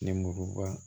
Nimuruba